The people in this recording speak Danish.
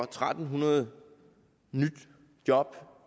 tre hundrede nyt job